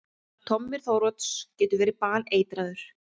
Tommi Þórodds getur verið baneitraður!